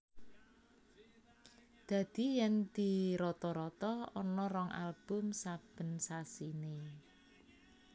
Dadi yen dirata rata ana rong album saben sasiné